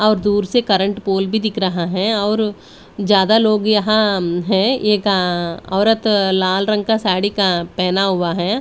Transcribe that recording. और दूर से करंट पोल भी दिख रहा है और ज्यादा लोग यहां है एक औरत लाल रंग का साड़ी का पहना हुआ है।